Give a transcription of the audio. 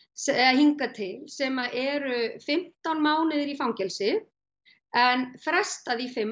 hingað til sem eru fimmtán mánuðir í fangelsi en frestað í fimm